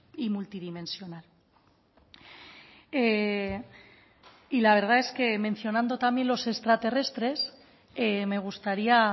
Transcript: y multidimensional y la verdad es que mencionando también los extraterrestres me gustaría